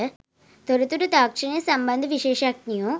තොරතුරු තාක්ෂණය සම්බන්ධ විශේෂඥයො